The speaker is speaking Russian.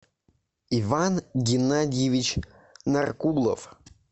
иван геннадьевич наркулов